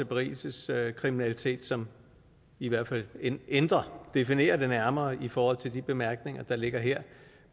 berigelseskriminalitet som i hvert fald ændrer definerer det nærmere i forhold til de bemærkninger der ligger her